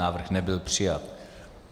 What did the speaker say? Návrh nebyl přijat.